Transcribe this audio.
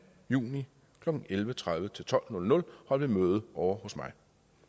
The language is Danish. juni klokken elleve tredive til tolv nul nul holdt møde ovre hos mig